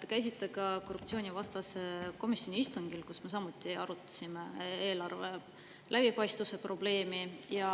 Te käisite ka korruptsioonivastase komisjoni istungil, kus me samuti arutasime eelarve läbipaistvuse probleemi, ja